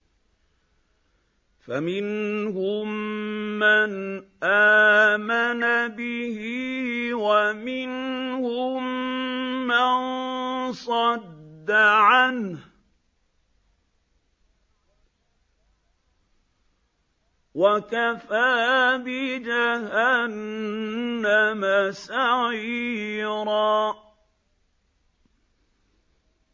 فَمِنْهُم مَّنْ آمَنَ بِهِ وَمِنْهُم مَّن صَدَّ عَنْهُ ۚ وَكَفَىٰ بِجَهَنَّمَ سَعِيرًا